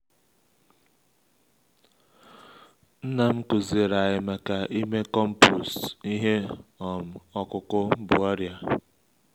nnam kụziri anyị maka ime compost ihe um ọkụkụ bu ọrịa.